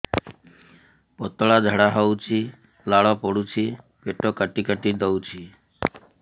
ପତଳା ଝାଡା ହଉଛି ଲାଳ ପଡୁଛି ପେଟ କାଟି କାଟି ଦଉଚି